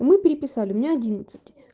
мы переписали у меня одиннадцать